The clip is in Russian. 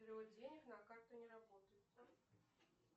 перевод денег на карту не работает